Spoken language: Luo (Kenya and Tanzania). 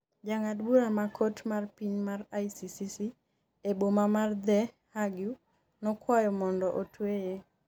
jang'ad bura mar kot mar piny mar ICC e boma mar The Hague nokwayo mondo otweye